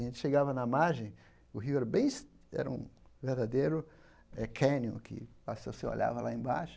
A gente chegava na margem, o rio era bem es era um verdadeiro eh cânion, que olhava lá embaixo.